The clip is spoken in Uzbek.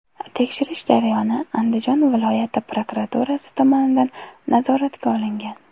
Tekshirish jarayoni Andijon viloyati prokuraturasi tomonidan nazoratga olingan.